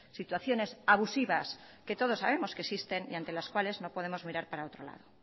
situaciones abusivas que todos sabemos que existen y ante las cuales no podemos mirar para otro lado